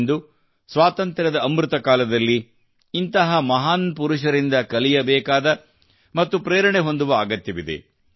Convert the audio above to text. ಇಂದು ಸ್ವಾತಂತ್ರ್ಯದ ಅಮೃತ ಕಾಲದಲ್ಲಿ ನಾವು ಇಂತಹ ಮಹಾನ್ ಪುರುಷರಿಂದ ಕಲಿಯಬೇಕಾದ ಮತ್ತು ಪ್ರೇರಣೆ ಹೊಂದುವ ಅಗತ್ಯವಿದೆ